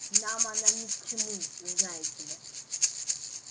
нам она ни к чему знаете ли